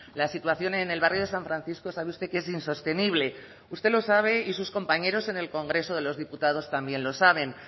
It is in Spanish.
la situación en el barrio de san francisco sabe usted que es insostenible usted lo sabe y sus compañeros en el congreso de los diputados también lo saben